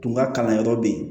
Tun ka kalan yɔrɔ bɛ yen